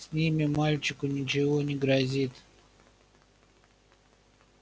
с ними мальчику ничего не грозит